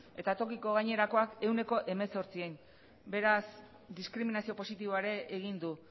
eta tokiko gainerakoak ehuneko hemezortzian beraz diskriminazio positiboa ere egin du